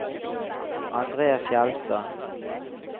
Andre Fjeldstad